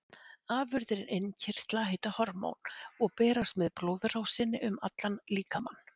Afurðir innkirtla heita hormón og berast með blóðrásinni um allan líkamann.